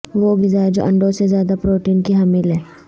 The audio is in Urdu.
وہ غذائیں جو انڈوں سے زیادہ پروٹین کی حامل ہیں